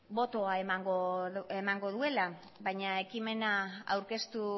botoa emango duela baina ekimena aurkeztu